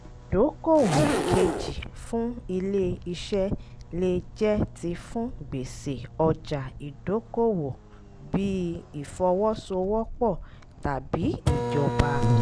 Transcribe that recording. ìdókòwò kejì fún ilé iṣẹ́ lè jẹ́ ti fún gbèsè ọjà ìdókoòwò bíi ìfọwọ́sowọ́pọ̀ tàbí ìjọba. um